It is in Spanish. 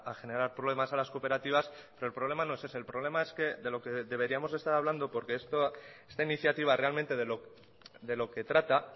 generar problemas a las cooperativas pero el problema no es ese el problema es que de lo que deberíamos estar hablando porque esto esta iniciativa realmente de lo que trata